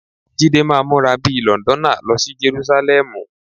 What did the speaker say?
Jídé máa múra bí i Lọ̀ǹdọ́nà lọ sí Jerúsálẹ́mù.